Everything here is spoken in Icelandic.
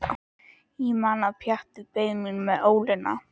Ég man að Pjatti beið mín með ólina.